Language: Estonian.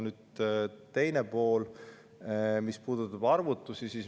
Nüüd teine pool, mis puudutab arvutusi.